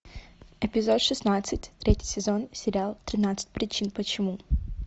эпизод шестнадцать третий сезон сериал тринадцать причин почему